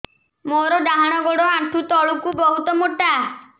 ମୋର ଡାହାଣ ଗୋଡ ଆଣ୍ଠୁ ତଳୁକୁ ବହୁତ ମୋଟା